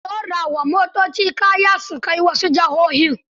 Ana ɗora wa motoci kaya su kai wasu jihohin.